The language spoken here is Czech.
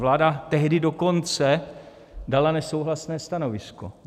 Vláda tehdy dokonce dala nesouhlasné stanovisko.